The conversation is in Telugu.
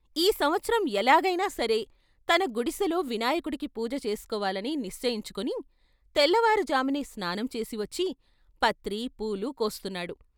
ఈ సంవత్సరం ఎలాగై నాసరే తన గుడి సెలో వినాయకుడికి పూజ చేసుకోవాలని నిశ్చయించు కుని తెల్లవారు జామునే స్నానంచేసి వచ్చి పత్రి, పూలు కోస్తున్నాడు.